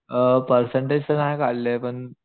अ percentage तर नाही काढले पण